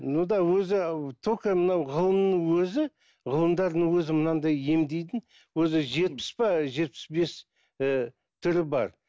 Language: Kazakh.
ну да өзі только мынау ғылымның өзі ғылымдардың өзі мынандай емдейтін өзі жетпіс пе жетпіс бес ііі түрі бар